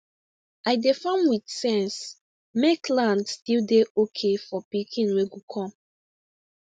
i dey farm with sense make land still dey okay for pikin wey go come